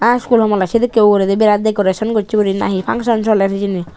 are sulumonay sedikane uguraydi dakorayson gosay gori nahi pangson soler hejani.